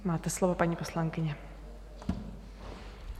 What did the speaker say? Máte slovo, paní poslankyně.